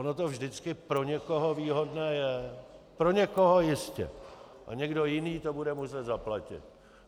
Ono to vždycky pro někoho výhodné je, pro někoho jistě, a někdo jiný to bude muset zaplatit.